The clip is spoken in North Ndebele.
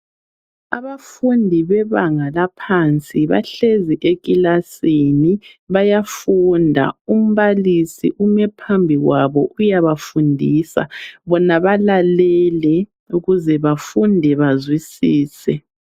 Abafundi bebanga laphansi bahlezi ekilasini bayafunda. Umbalisi ume phambi kwabo uyabafundisa, bona balalele ukuze bafunde bazwisise.